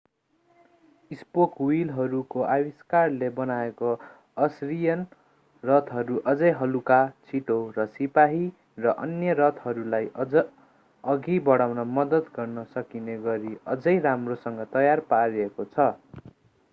spoke व्हीलहरूको आविष्कारले बनाएको असरियन रथहरू झनै हलुका छिटो र सिपाही र अन्य रथहरूलाई अघि बढाउन मद्दत गर्न सकिने गरी अझै राम्रोसँग तयार पारेको छ